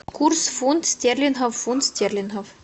курс фунт стерлингов в фунт стерлингов